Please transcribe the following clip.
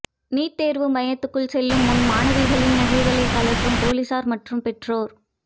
NEET தோ்வு மையத்துக்குள் செல்லும் முன் மாணவிகளின் நகைகளைக் கழற்றும் போலீஸாா் மற்றும் பெற்றோா்